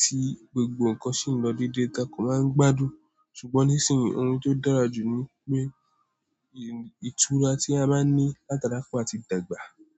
tí gbogbo nǹkan sì ń lọ déédéé, takò máa ń gbádùn. Ṣùgbọ́n nísinsìnyí, oun tó dára jù ni pé ìtura tí a máa ń ní látara kò à tí dàgbà.